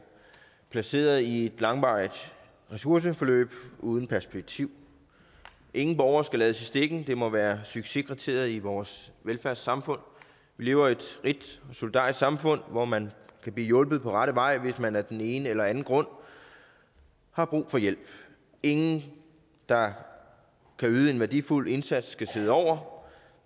placeret i et langvarigt ressourceforløb uden perspektiv ingen borgere skal lades i stikken det må være succeskriteriet i vores velfærdssamfund vi lever i et rigt solidarisk samfund hvor man kan blive hjulpet på rette vej hvis man af den ene eller anden grund har brug for hjælp ingen der kan yde en værdifuld indsats skal sidde over